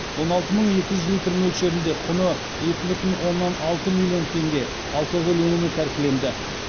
он алты мың екі жүз литр мөлшерінде құны екі бүтін оннан алты миллион теңге алкоголь өнімі тәркіленді